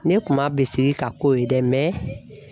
Ne kuma bi sigi ka kow ye dɛ